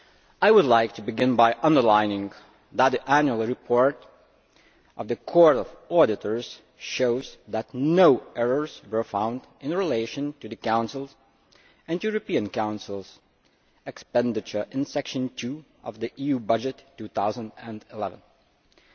I would like to begin by underlining that the annual report of the Court of Auditors shows that no errors were found in relation to the Council's and European Council's expenditure in Section II of the 2011 EU budget.